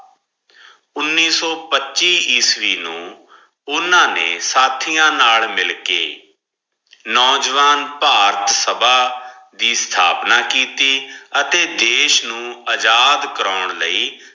ਉਨੀਸ ਸੋ ਪਚਿ ਈਸਵੀ ਨੂ ਓਨਾ ਨੇ ਸਾਥਿਯਾਂ ਨਾਲ ਮਿਲ ਕੇ ਨੋਜਵਾਨ ਫਾਰਟ ਸਬ ਦੀ ਸਾਬਣ ਕੀਤੀ ਅਠੀ ਦਿਸ ਨੂ ਅਜਾਦ ਕਰੋਂ ਲੈ